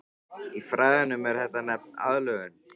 Í fræðunum er þetta nefnt aðlögun.